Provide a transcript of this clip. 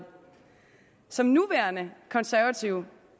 som nuværende konservativ